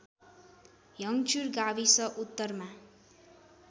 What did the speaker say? हङ्चुर गाविस उत्तरमा